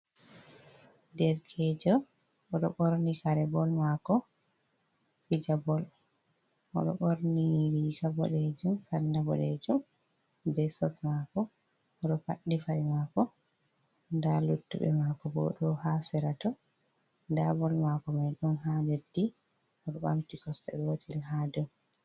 Derkejo oɗo borni kare bol mako fija bol, oɗo ɓorni riga boɗeejum salla boɗejum be sos maako, oɗo paɗɗi paɗe maako, nda luttuɓe maako bo ɗo ha sera to, nda bol maako mai ɗon ha leddi oɗo ɓamti kosɗe gotel ha dou.